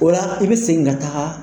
O la i bɛ segin ka taga